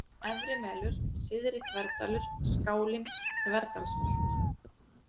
Efrimelur, Syðri-Þverdalur, Skálin, Þverdalsholt